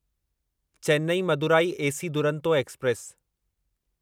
Chennai Madurai AC Duronto express